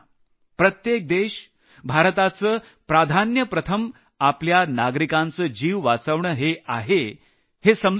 प्रत्येक देशाचे प्रथम प्राधान्य आपल्या नागरिकांचा जीव वाचवणं हे समजून आहे